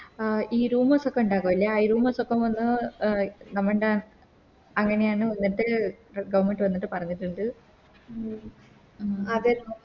ആ ഈ Rumours ഒക്കെ ഇണ്ടാകൂലെ ആ ഈ Rumours ഒക്കെ വന്ന് അഹ് Government അങ്ങനെയാണ് ഉള്ളത് Government വന്നിട്ട് പറഞ്ഞിട്ട്ണ്ട്